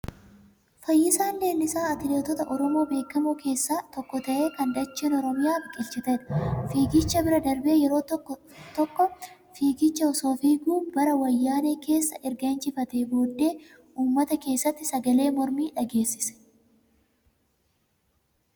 Fayyisaan Leellisaa atileetota oromoo beekamoo keessaa tokko ta'ee kan dacheen oromiyaa biqilchitedha. Fiigicha bira darbee yeroo tokko fiigicha osoo fiiguu bara wayyaanee keessa erga injifatee booddee uummata keessatti sagalee mormii dhageessise.